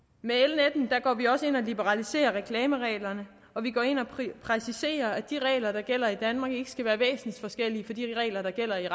af går vi også ind og liberaliserer reklamereglerne og vi går ind og præciserer at de regler der gælder i danmark ikke skal være væsensforskellige fra de regler der gælder i